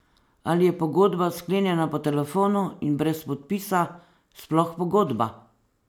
Ali je pogodba, sklenjena po telefonu in brez podpisa, sploh pogodba?